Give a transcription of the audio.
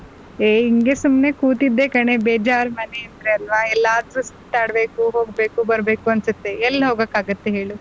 ಹೆ ಇಂಗೆ ಸುಮ್ನೆ ಕೂತಿದ್ದೆ ಕಣೆ ಬೇಜಾರ್ ಮನೆ ಅಂದ್ರೆ ಅಲ್ವಾ ಎಲ್ಲಾದ್ರೂ ಸುತ್ತಾಡ್ಬೇಕು ಹೋಗ್ಬೇಕು ಬರ್ಬೇಕು ಅನ್ಸುತ್ತೆ ಎಲ್ ಹೋಗೋಕಾಗುತ್ತೆ ಹೇಳು.